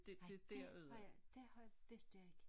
Nej dét har jeg dét har vidste jeg ikke